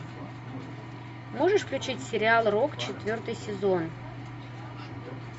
можешь включить сериал рок четвертый сезон